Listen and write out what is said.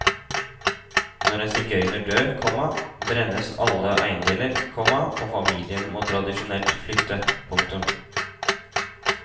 Når en sigøyner dør, komma brennes alle eiendeler, komma og familien må tradisjonelt flytte. punktum